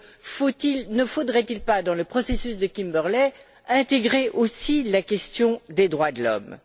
suivante ne faudrait il pas, dans le processus de Kimberley, intégrer aussi la question des droits de l'homme?